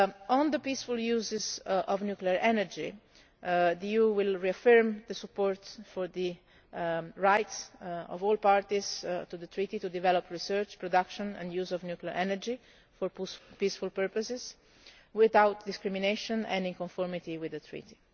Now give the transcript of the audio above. On the peaceful use of nuclear energy the EU will reaffirm its support for the right of all parties to the Treaty to develop research, production and use of nuclear energy for peaceful purposes, without discrimination, and in conformity with the